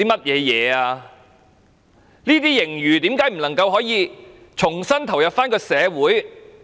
這些盈餘為何不能重新投入社會？